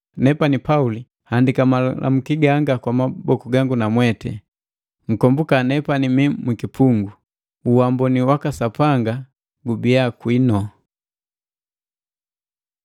Nepani Pauli nhandika malamuki ganga kwa maboku gangu namweti. Nkombuka nemi mwikipungu. Uamboni waka Sapanga gubiya kwinu.